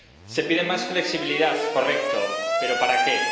Se pide más flexibilidad, correcto, pero ¿para qué?